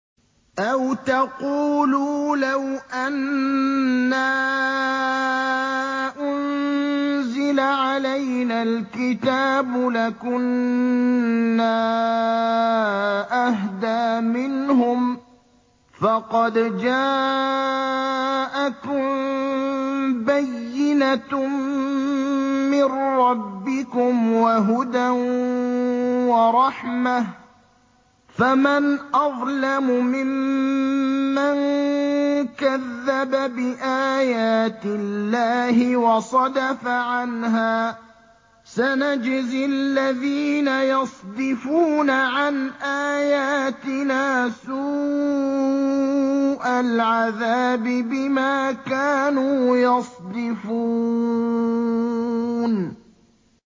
أَوْ تَقُولُوا لَوْ أَنَّا أُنزِلَ عَلَيْنَا الْكِتَابُ لَكُنَّا أَهْدَىٰ مِنْهُمْ ۚ فَقَدْ جَاءَكُم بَيِّنَةٌ مِّن رَّبِّكُمْ وَهُدًى وَرَحْمَةٌ ۚ فَمَنْ أَظْلَمُ مِمَّن كَذَّبَ بِآيَاتِ اللَّهِ وَصَدَفَ عَنْهَا ۗ سَنَجْزِي الَّذِينَ يَصْدِفُونَ عَنْ آيَاتِنَا سُوءَ الْعَذَابِ بِمَا كَانُوا يَصْدِفُونَ